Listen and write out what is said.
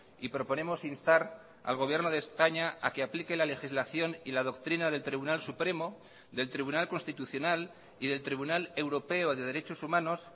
y proponemos instar al gobierno de españa a que aplique la legislación y la doctrina del tribunal supremo del tribunal constitucional y del tribunal europeo de derechos humanos